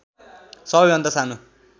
सबै भन्दा सानो